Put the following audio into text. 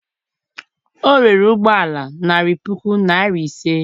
o rere ụgbọ ala narị puku naịra ise